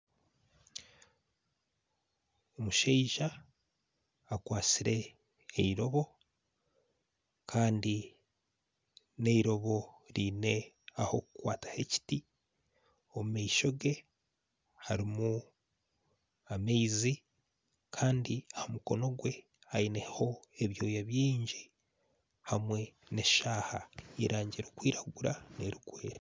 Omushaija akwatsire eirobo Kandi neirobo eriine ah'okukwata hekiti omu maisho ge harimu amaizi Kandi aha mukono gwe aineho ebyoya bingi hamwe neshaaha eyerangi erikwiragura nerikwera